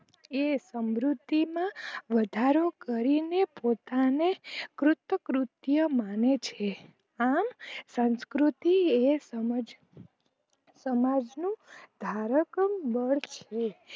એ સમૃદ્ધિ માં વધારો કરીને પોતાને કૃત કૃતિય માને છે આમ સંસ્કૃતિ એ સમાજનું ધારકમ બણ છે